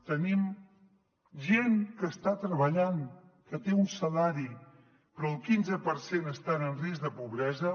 tenim gent que està treballant que té un salari però el quinze per cent estan en risc de pobresa